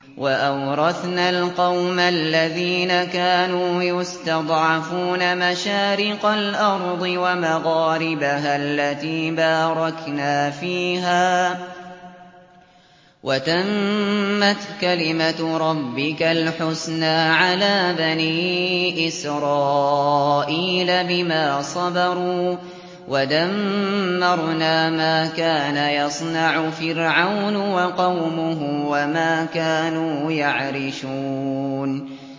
وَأَوْرَثْنَا الْقَوْمَ الَّذِينَ كَانُوا يُسْتَضْعَفُونَ مَشَارِقَ الْأَرْضِ وَمَغَارِبَهَا الَّتِي بَارَكْنَا فِيهَا ۖ وَتَمَّتْ كَلِمَتُ رَبِّكَ الْحُسْنَىٰ عَلَىٰ بَنِي إِسْرَائِيلَ بِمَا صَبَرُوا ۖ وَدَمَّرْنَا مَا كَانَ يَصْنَعُ فِرْعَوْنُ وَقَوْمُهُ وَمَا كَانُوا يَعْرِشُونَ